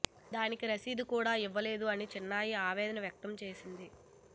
దానికి రశీదు కూడా ఇవ్వలేదు అని చిన్మయి ఆవేదన వ్యక్తం చేసింది